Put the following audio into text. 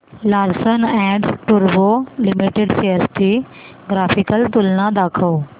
Larsen and टुर्बो limited shares ची graphical तुलना दाखव